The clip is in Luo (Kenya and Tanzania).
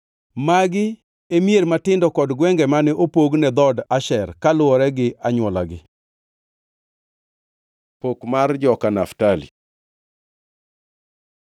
Magi e mier matindo kod gwenge mane opog ne dhood Asher kaluwore gi anywolagi. Pok mar joka Naftali